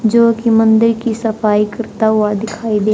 जो की मंदिर की सफाई करता हुआ दिखाई दे--